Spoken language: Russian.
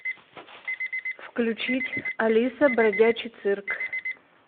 включить алиса бродячий цирк